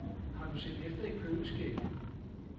Har du set efter i køleskabet?